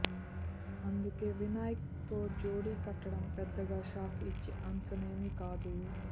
అందుకే వినాయక్ తో జోడీ కట్టడం పెద్దగా షాక్ ఇచ్చే అంశమేమీ కాదు